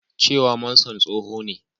cewa Manson tsoho ne